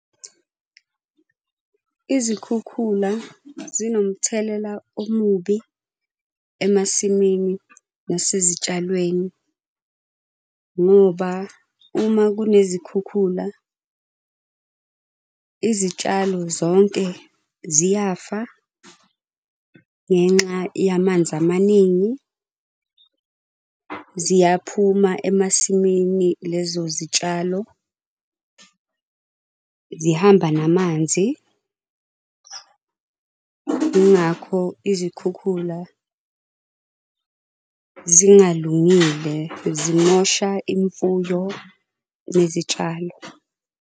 Izikhukhula zinomthelela omubi emasimini nasezitshalweni ngoba uma kunezikhukhula, izitshalo zonke ziyafa. Ngenxa yamanzi amaningi, ziyaphuma emasimini lezo zitshalo zihamba namanzi. Yingakho izikhukhula zingalungile. Zimosha imfuyo nezitshalo.